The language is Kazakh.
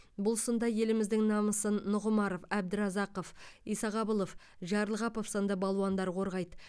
бұл сында еліміздің намысын нұғымаров әбдіразақов исағабылов жарылғапов сынды балуандар қорғайды